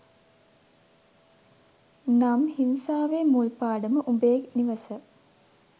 නම් හිංසාවේ මුල් පාඩම උඹේ නිවස